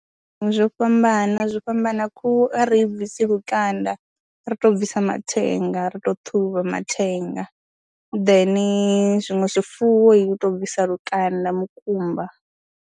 Zwo fhambana, zwo fhambana khuhu a ri i bvisi lukanda ri tou bvisa mathenga ra tou ṱhuvha mathenga then zwiṅwe zwifuwo u tou bvisa lukanda mukumba.